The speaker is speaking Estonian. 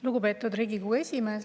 Lugupeetud Riigikogu esimees!